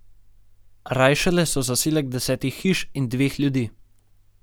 Rajšele so zaselek desetih hiš in dveh ljudi.